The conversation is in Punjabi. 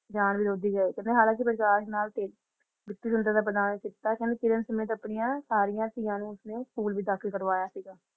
ਜਾਣ ਦੀ ਲੋਧੀ ਹੈ ਕਹਿੰਦੇ ਹਲਾਂ ਕੇ ਵਿਸ਼ਵਾਸ ਨਾਲ ਕਹਿੰਦੇ ਕਿਰਨ ਸਮੇਤ ਆਪਣੀਆਂ ਸਾਰੀਆਂ ਧੀਆਂ ਨੂੰ ਉਸਨੇ ਸਕੂਲ ਵਿੱਚ ਦਾਖਲ ਕਰਵਾਇਆ ਸੀਗਾ